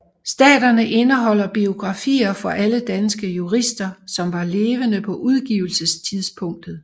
Staterne indeholder biografier for alle danske jurister som var levende på udgivelsestidspunktet